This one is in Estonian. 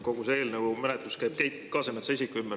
Kogu see eelnõu menetlus käib Keit Kasemetsa isiku ümber.